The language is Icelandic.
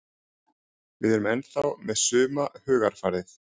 Við erum ennþá með suma hugarfarið.